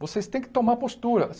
Vocês têm que tomar postura.